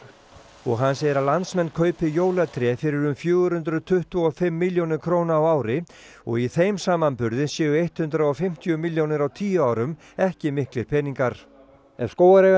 og hann segir að landsmenn kaupi jólatré fyrir um fjögur hundruð tuttugu og fimm milljónir króna á ári og í þeim samanburði séu hundrað og fimmtíu milljónir á tíu árum ekki miklir peningar ef